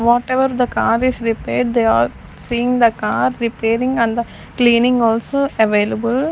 Whatever the car is repaired they are seeing the car repairing and the cleaning also available.